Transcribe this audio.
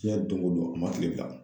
Diɲɛ don o don a ma tile bilan.